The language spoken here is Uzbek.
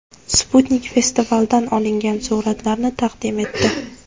Sputnik festivaldan olingan suratlarni taqdim etdi .